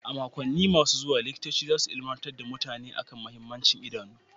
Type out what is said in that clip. A makonni masu zuwa, Likitoci za su ilimantar da mutane kan mahimmancin idanu.